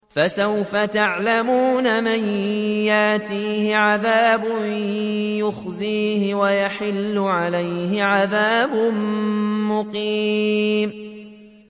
فَسَوْفَ تَعْلَمُونَ مَن يَأْتِيهِ عَذَابٌ يُخْزِيهِ وَيَحِلُّ عَلَيْهِ عَذَابٌ مُّقِيمٌ